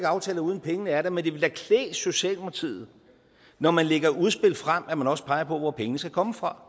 aftaler uden at pengene er der men det ville da klæde socialdemokratiet når man lægger udspil frem at man også peger på hvor pengene skal komme fra